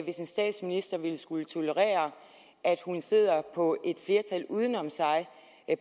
hvis en statsminister ville skulle tolerere at hun sidder på et flertal uden om sig og